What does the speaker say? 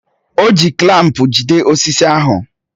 O ji klampu jide osisi ahụ